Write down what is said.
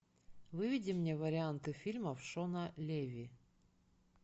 выведи мне варианты фильмов шона леви